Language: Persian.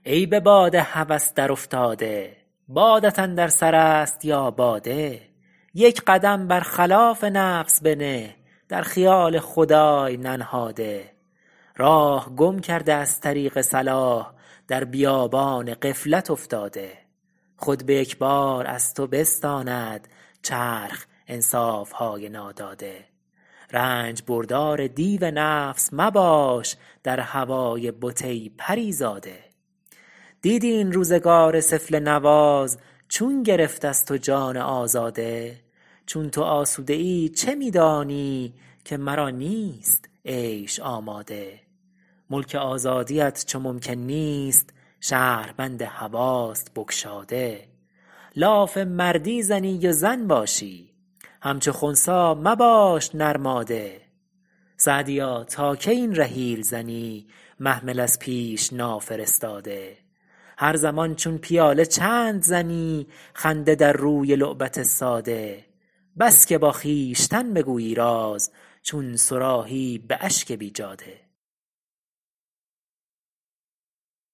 ای به باد هوس در افتاده بادت اندر سر است یا باده یک قدم بر خلاف نفس بنه در خیال خدای ننهاده راه گم کرده از طریق صلاح در بیابان غفلت افتاده خود به یک بار از تو بستاند چرخ انصافهای ناداده رنج بردار دیو نفس مباش در هوای بت ای پریزاده دیدی این روزگار سفله نواز چون گرفت از تو جان آزاده چون تو آسوده ای چه می دانی که مرا نیست عیش آماده ملک آزادیت چو ممکن نیست شهربند هواست بگشاده لاف مردی زنی و زن باشی همچو خنثی مباش نرماده سعدیا تا کی این رحیل زنی محمل از پیش نافرستاده هر زمان چون پیاله چند زنی خنده در روی لعبت ساده بس که با خویشتن بگویی راز چون صراحی به اشک بیجاده